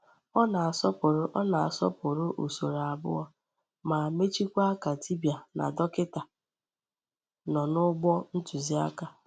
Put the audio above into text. Ọ nà-asọpụrụ Ọ nà-asọpụrụ usoro abụọ ma mechikwa ka dibịa na dọkịta nọ n’ụgbọ ntụziaka.